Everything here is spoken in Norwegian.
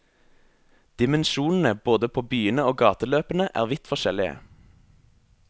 Dimensjonene både på byene og gateløpene er vidt forskjellige.